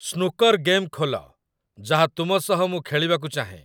Snooker game ଖୋଲ, ଯାହା ତୁମ ସହ ମୁଁ ଖେଳିବାକୁ ଚାହେଁ।